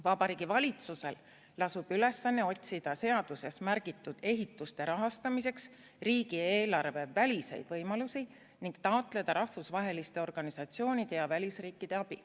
Vabariigi valitsusel lasub ülesanne otsida seaduses märgitud ehituste rahastamiseks riigieelarve väliseid võimalusi ning taotleda rahvusvaheliste organisatsioonide ja välisriikide abi.